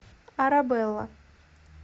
арабелла